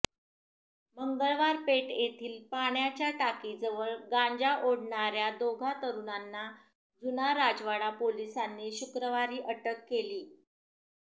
मंगळवार पेठ येथील पाण्याच्या टाकीजवळ गांजा ओढणाऱ्या दोघा तरुणांना जुना राजवाडा पोलिसांनी शुक्रवारी अटक केली